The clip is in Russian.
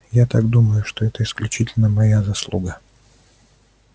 я так думаю что это исключительно моя заслуга